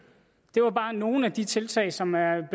det var bare nogle af de tiltag som er